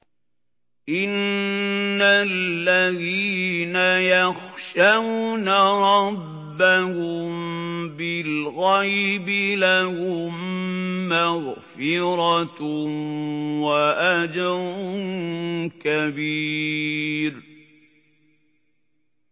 إِنَّ الَّذِينَ يَخْشَوْنَ رَبَّهُم بِالْغَيْبِ لَهُم مَّغْفِرَةٌ وَأَجْرٌ كَبِيرٌ